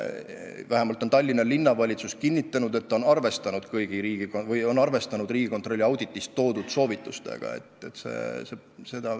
Aga Tallinna Linnavalitsus on kinnitanud, et ta on arvestanud Riigikontrolli auditis toodud soovitustega.